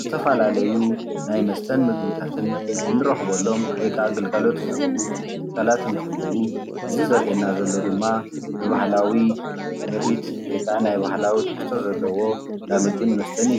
ዝተፈላለዩ ናይ መስተን ምግብታት ንረኽበሎም ወይከኣ ግልጋሎት ዝህቡ ትካላት እንትህልው እዚ ዘሪአና ዘሎ ድማ ብባህላዊ ምርኢት ወይከኣ ናይ ባህላዊ ትሕዝቶ ዘለዎ አንዳምግብን መስተን እዩ፡፡